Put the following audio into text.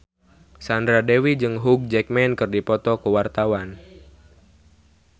Sandra Dewi jeung Hugh Jackman keur dipoto ku wartawan